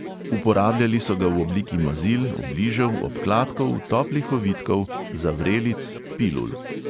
Uporabljali so ga v obliki mazil, obližev, obkladkov, toplih ovitkov, zavrelic, pilul.